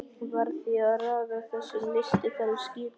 Varð því að raða þessum lystiferðum skipulega niður.